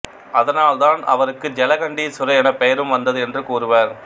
அதனால் தான் அவருக்கு ஜலகண்டீஸ்வரர் என பெயரும் வந்தது என்று கூறுவர்